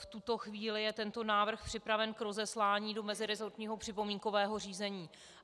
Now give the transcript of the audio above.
V tuto chvíli je tento návrh připraven k rozeslání do meziresortního připomínkového řízení.